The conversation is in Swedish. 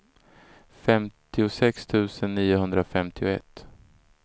femtiosex tusen niohundrafemtioett